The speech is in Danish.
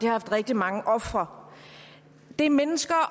har haft rigtig mange ofre det er mennesker